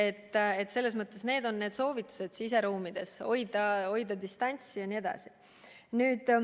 Te ju teate, et on soovitus siseruumides maski kanda, hoida distantsi jne.